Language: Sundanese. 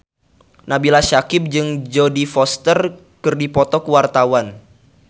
Nabila Syakieb jeung Jodie Foster keur dipoto ku wartawan